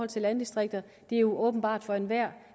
til landdistrikterne det er jo åbenbart for enhver